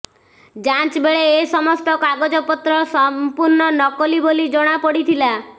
ଯାଞ୍ଚ ବେଳେ ଏ ସମସ୍ତ କାଗଜପତ୍ର ସଂପୂର୍ଣ୍ଣ ନକଲି ବୋଲି ଜଣାପଡିଥିଲା